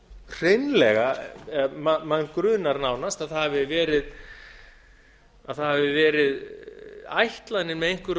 hreinlega eða mann grunar nánast að það hafi verið ætlunin með einhverju